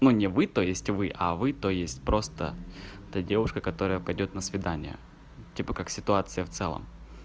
но не вы то есть вы а вы то есть просто та девушка которая пойдёт на свидание типа как ситуация в целом